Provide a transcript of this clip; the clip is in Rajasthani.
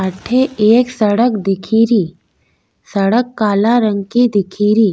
अठे एक सड़क दिखेरी सड़क काला रंग की दिखेरी।